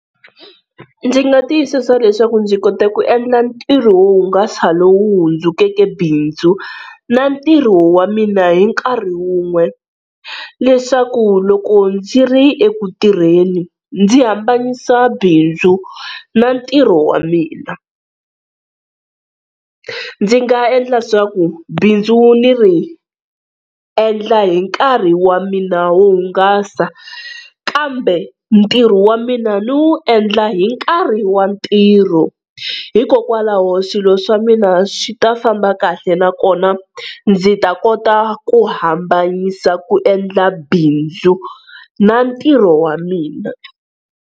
Ndzi nga tiyisisa leswaku ndzi kote ku endla ntirho wo hungasa lowu hundzukeke bindzu na ntirho wa mina hi nkarhi wun'we, leswaku loko ndzi ri eku tirheni ndzi hambanyisa bindzu na ntirho wa mina. Ndzi nga endla swa ku bindzu ni ri endla hi nkarhi wa mina wo hungasa, kambe ntirho wa mina ni wu endla hi nkarhi wa ntirho hikokwalaho swilo swa mina swi ta famba kahle nakona ndzi ta kota ku hambanyisa ku endla bindzu na ntirho wa mina.